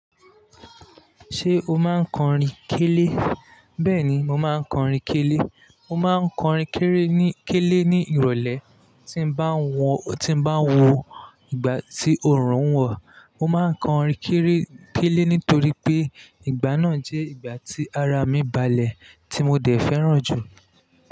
Ṣé o máa ń kọrin kélé? Bẹ́ẹ̀ni, mo máa ń kọrin kélé. Mo máa ń kọrin kéré ní, kélé ní ìrọ̀lẹ́ tí n bá ń wọ, tí n bá ń wọ ìgbà tí òòrùn ń wọ̀. Mo máa ń kọrin kéré, kélé nítorí pé ìgbà náà jẹ́ ìgbà tí ara mi balẹ̀ tí mo dẹ̀ fẹ́ràn jù.